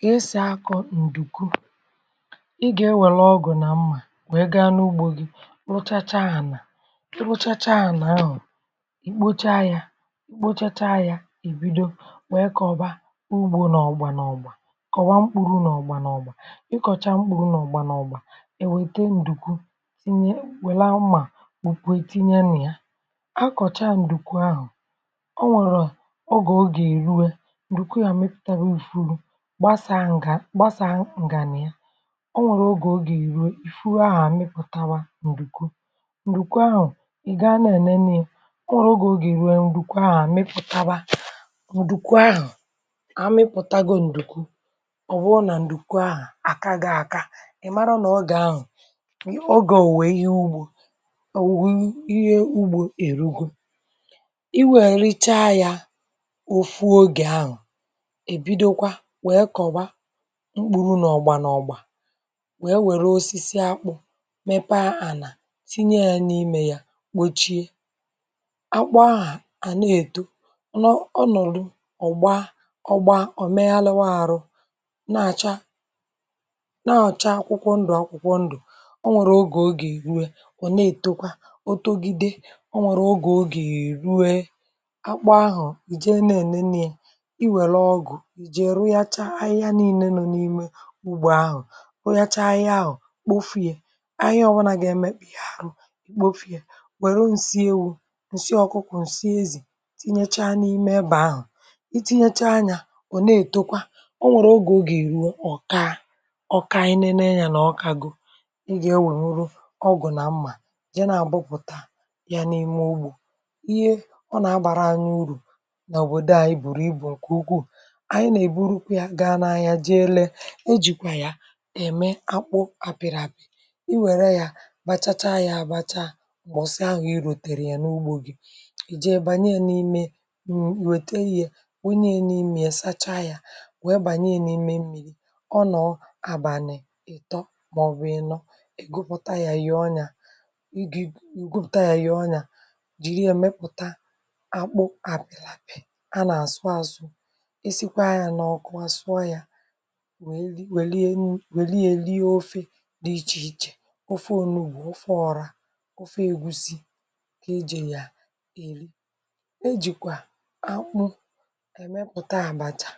Gà-èsì akọ̀ ǹdùkwu ị gà-enwèlè ọgụ̀ nà mmȧ nà ga n’ugbȯ gị rụchacha ànà rụchacha ànà ahụ̀ um ì kpocha ya kpochacha ya ì bido nwèe kọ̀ba ugbȯ nà ọ̀gbà nà ọ̀gbà um kọ̀wa mkpuru nà ọ̀gbà nà ọ̀gbà ị kọ̀cha mkpuru nà ọ̀gbà nà ọ̀gbà è wète ǹdùkwu um sinye wèle mmà bùkwàtinye nà ya a kọ̀cha ǹdùkwu ahụ̀ o nwèrè a ọ gà o gà-èriwe gbasàa ǹgà gbasàa ǹgà nà ya um o nwèrè ogè o gà-èru ifuru ahụ̀ àmịpụ̀tawa ǹdùkwu ǹdùkwu ahụ̀ i gà anà enene ị um ọ nwèrè ogè ogè ruo ǹdùkwu ahụ̀ àmịpụ̀tawa ǹdùkwu ahụ̀ amịpụtago ǹdùkwu ọ̀ bụrụ nà ǹdùkwu ahụ̀ àkà gị aka ị̀ mara nà ọ gà-ahụ̀ o gà-òwè ihe ugbȯ òwùwù ihe ugbȯ èrugo i nwèrèicha yȧ ofu ogè ahụ̀ mkpụrụ nà ọ̀gbà nà ọ̀gbà wee wère osisi akpụ̇ mepe um a nà tinye ya n’imė ya gbochie akpụ ahụ̀ à na-èto ọ nụ̀lụ̀ ọ̀gbà ọ̀gbà ọ meha lewa àrụ na-àcha na-ọ̀cha akwụkwọ ndụ̀ akwụkwọ ndụ̀ o nwèrè ogè ogè ruo wụ̀ na-ètokwa o togide o nwèrè ogè ogè èruwe akpụ ahụ̀ ìje na-ènene um i wère ọgụ̀ ugbò ahụ̀ o yachaa ahụ̀ kpofìe ahụ̀ ọwanà gà-emekpì ya ahụ̀ kpofìe wère ǹsị ewu̇ ǹsị ọkụkụ̀ ǹsị ezì tinyechaa n’ime ebe ahụ̀ i tinyechaa anyȧ ò na-ètekwa o nwèrè ugò ga-èru ọkà a ọkà anyị nenu ya nà ọkago ị gà-eweruru ọgwụ̀ um na mmà jenà àgbụpụ̀ta ya n’ime ugbò ihe ọ nà-agbàra anyị urù nà òbòdo ànyị bụ̀rụ̀ ibù ǹkè ugwuù e jìkwà ya ème akpụ àpị̀rị̀ àpị̀ i wère ya bachacha ya àbacha m̀gbọ̀sị ahụ̀ i ròtèrè ya n’ugbȯ gị̇ i jee bànye n’ime wète ya onye n’ime ya um sacha ya wee bànye n’ime mmi̇ri ọ nọọ̀ abànị̀ ìtọ màọ̀bụ̀ ịnọ̇ è gụpụta ya yà ọnyà i gị̇ è gụpụta ya yà ọnyà jìri èmepụ̀ta akpụ àpị̀lȧpị̀ a nà àsụ àsụ nwèe lee nwèe lee ofė dị ichè ichè ofe ònùu bụ̀ ofe ọrȧ ofe ègusi kà ejè yà èli ejìkwà akpụ èmepùta àbàchà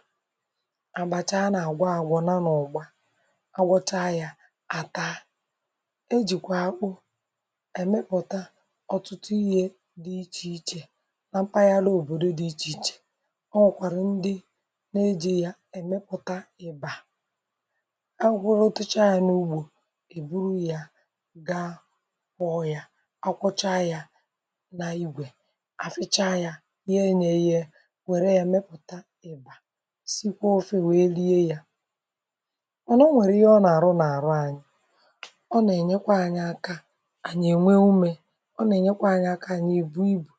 àbàchà a nà àgwọ àgwọ nà n’ọ̀gba agbọcha yȧ àta ejìkwà akpụ èmepùta ọ̀tụtụ ihe dị̇ ichè ichè nà mpaghara òbòdo dị ichè ichè e kwuru otacha yȧ n’ugbò èburu yȧ gaa kpọọ yȧ, ọ kwọcha yȧ nà igwè àficha yȧ nyėnyė yȧ nwère yȧ mepụ̀ta ị̀bà sikwa ofe wèe lie yȧ ọ nà o nwèrè ihe ọ nà-àrụ n’àrụ ànyị ọ nà-ènyekwa anyị aka ànyị ènwe umė ọ nà-ènyekwa anyị aka ànyị èbù ibù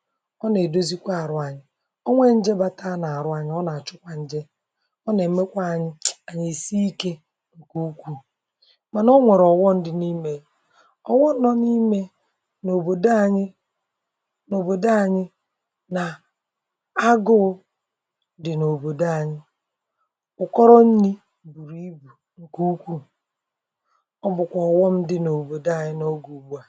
ọ nà-èdozikwa àrụ ànyị ọ nwee njebata a nà-àrụ anyị, ọ nà-àchụkwa nje ǹkè ukwuù mànà ọ nwèrè ọ̀wọ ndị n’imė ọ̀wọ nọ n’imė n’òbòdo anyị n’òbòdo anyị nà agụ̇ụ̇ dị̀ n’òbòdo anyị ụ̀kọrọ nni̇ bùrù ibù ǹkè ukwuù ọ bụ̀kwà ọ̀wọ ndị̇ n’òbòdo ànyị n’ogè ùgbu à.